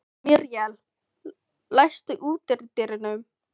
Míríel, læstu útidyrunum.